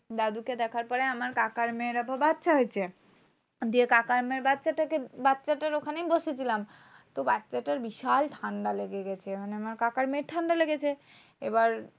দাদুকে দেখার পরে আমার কাকার মেয়ের তো বাচ্চা হয়েছে। দিয়ে কাকার মেয়ের বাচ্চাটাকে বাচ্চাটার ওখানে বসেছিলাম। তো বাচ্চাটার বিশাল ঠান্ডা লেগে গেছে। মানে আমার কাকার মেয়ের ঠান্ডা লেগেছে। এবার